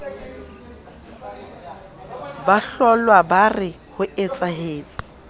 ba hlollwa ba re hoetsahetse